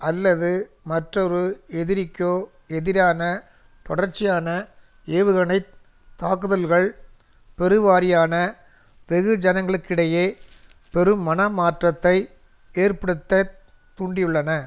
அல்லது மற்றொரு எதிரிக்கோ எதிரான தொடர்ச்சியான ஏவுகணை தாக்குதல்கள் பெருவாரியான வெகுஜனங்களுக்கிடையே பெரும் மனமாற்றத்தை ஏற்படுத்த தூண்டியுள்ளன